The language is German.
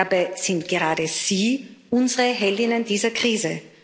Dabei sind gerade sie unsere Heldinnen dieser Krise.